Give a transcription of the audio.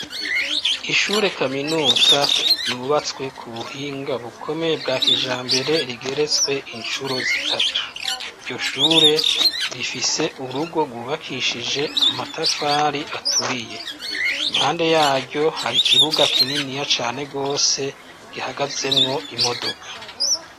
Ishure kaminuza yubatswe ku buhinga bukomeye bwa kijambere rigeretswe incuro zitatu iryo shure rifise urugo gwubakishije amatafari aturiye, impande yaryo hari ikibuga kininiya cane gose gihagazemwo imodoka.